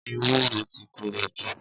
Éwúró ti kórójú